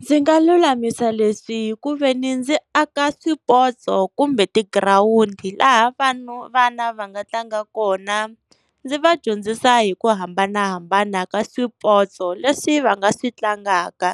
Ndzi nga lulamisa leswi ku veni ndzi aka swipotso kumbe tigirawundi, laha vanhu, vana va nga tlanga kona. Ndzi va dyondzisa hi ku hambanahambana ka swipotso leswi va nga swi tlangaka